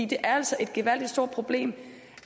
det er altså et gevaldigt problem